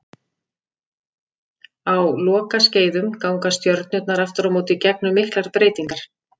Á lokaskeiðum ganga stjörnurnar aftur á móti gegnum miklar breytingar.